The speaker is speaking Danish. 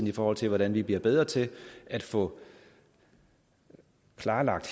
i forhold til hvordan vi bliver bedre til at få klarlagt